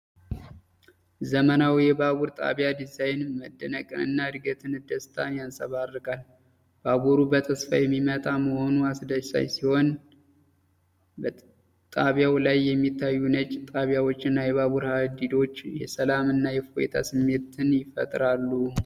ዘመናዊው የባቡር ጣቢያ ዲዛይን መደነቅንና የዕድገት ደስታን ያንጸባርቃል። ባቡሩ በተስፋ የሚመጣ መሆኑ አስደሳች ሲሆን፣ በጣቢያው ላይ የሚታዩት ነጭ ጣሪያዎችና የባቡር ሀዲዶች የሰላም እና የእፎይታ ስሜትን ይፈጥራሉ።